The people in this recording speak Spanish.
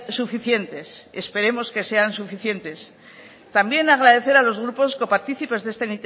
suficientes esperemos que sean suficientes también agradecer a los grupos coparticipes de esta